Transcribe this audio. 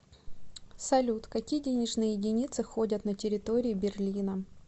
салют какие денежные единицы ходят на территории берлина